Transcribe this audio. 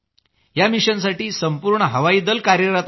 या मिशनसाठी संपूर्ण हवाई दल कार्यरत आहे